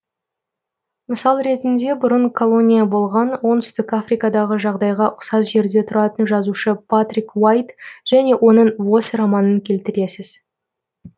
мысал ретінде бұрын колония болған оңтүстік африкадағы жағдайға ұқсас жерде тұратын жазушы патрик уайт және оның восс романын келтіресіз